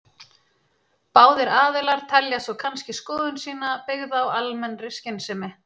Báðir aðilar telja svo kannski skoðun sína byggða á almennri skynsemi.